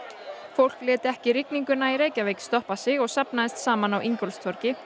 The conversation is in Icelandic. fólk lét ekki rigninguna í Reykjavík stoppa sig og safnaðist saman á Ingólfstorgi